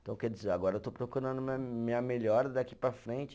Então, quer dizer, agora eu estou procurando minha minha melhora daqui para a frente.